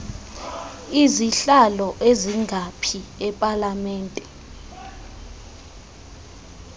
izihlalo ezingaphi epalamente